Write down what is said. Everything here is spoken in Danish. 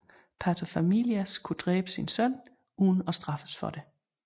Pater familias kunne dræbe sin søn uden at straffes for det